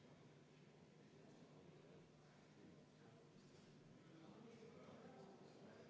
Palun võtta seisukoht ja hääletada!